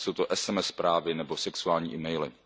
Ať jsou to sms zprávy nebo sexuální e maily.